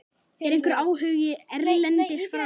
Er einhver áhugi erlendis frá?